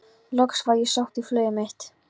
Loks var ég sótt í flugið mitt.